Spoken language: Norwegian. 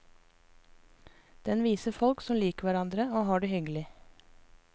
Den viser folk som liker hverandre og har det hyggelig.